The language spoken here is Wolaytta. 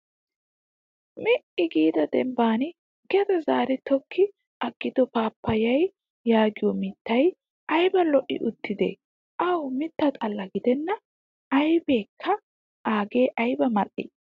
Mi''i giida dembban gede zaari tokki aggido paappayaa yaagiyoo mittaaayi ayiba lo''i uttidee. Awu mitta xalla gidenna ayipeekka aagee ayiba mal''ii.